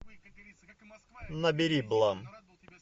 набери блан